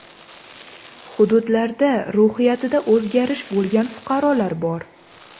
Hududlarda ruhiyatida o‘zgarish bo‘lgan fuqarolar bor.